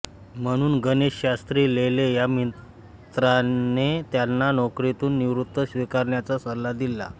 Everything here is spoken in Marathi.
म्हणून गणेशशास्त्री लेले या मित्राने त्यांना नोकरीतून निवृत्ती स्वीकारण्याचा सल्ला दिला